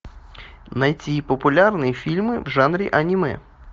найти популярные фильмы в жанре аниме